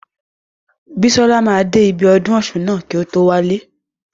Bísọ́la máa dé ibi ọdún ọ̀ṣun ná kí o tó wálé.